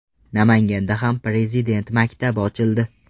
Namanganda ham Prezident maktabi ochildi .